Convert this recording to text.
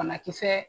Banakisɛ